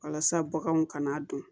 Walasa baganw kana don